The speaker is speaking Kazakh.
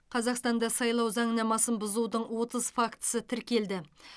қазақстанда сайлау заңнамасын бұзудың отыз фактісі тіркелді